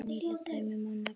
Nýleg dæmi má nefna.